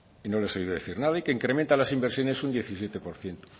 y no les he oído decir nada y que incrementa las inversiones un diecisiete por ciento